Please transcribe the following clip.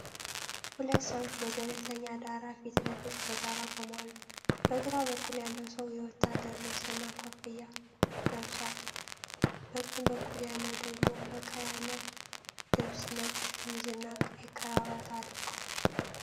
ሁለት ሰዎች በገለልተኛ ዳራ ፊት ለፊት በጋራ ቆመዋል። በግራ በኩል ያለው ሰው የወታደር ልብስና ኮፍያ ለብሷል፤ በቀኝ በኩል ያለው ደግሞ ፈካ ያለ ልብስ፣ ነጭ ሸሚዝና ቀይ ክራቫት አድርጓል።